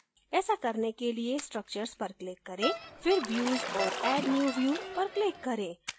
ऐसा करने के लिए structures पर click करें फिर views और add new view पर click करें